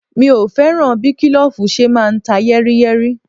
Mi ò fẹ́ràn bí kílòfù ṣe máa ń ta yẹ́ríyẹ́rí